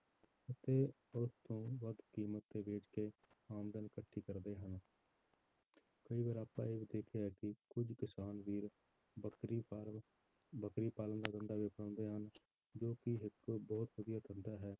ਤੇ ਉਸ ਤੋਂ ਵੱਧ ਕੀਮਤ ਤੇ ਵੇਚ ਕੇ ਆਮਦਨ ਇਕੱਠੀ ਕਰਦੇ ਹਨ ਕਈ ਵਾਰ ਆਪਾਂ ਇਹ ਵੀ ਦੇਖਿਆ ਹੈ ਕਿ ਕੁੱਝ ਕਿਸਾਨ ਵੀਰ ਬੱਕਰੀ farm ਬੱਕਰੀ ਪਾਲਣ ਦਾ ਧੰਦਾ ਵੀ ਅਪਣਾਉਂਦੇ ਹਨ ਜੋ ਕਿ ਇੱਕ ਬਹੁਤ ਵਧੀਆ ਧੰਦਾ ਹੈ,